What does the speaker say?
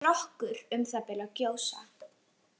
Strokkur um það bil að gjósa.